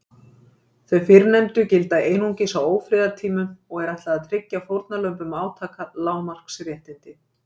Þau fyrrnefndu gilda einungis á ófriðartímum og er ætlað að tryggja fórnarlömbum átaka lágmarks réttindi.